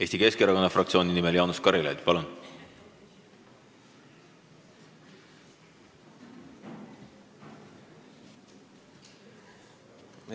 Eesti Keskerakonna fraktsiooni nimel Jaanus Karilaid, palun!